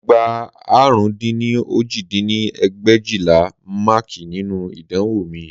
Mo gbà àrún dín ní òjì dín ní ẹgbẹ̀éjìlá máàkì nínú ìdánwò mi